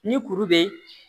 Ni kuru bee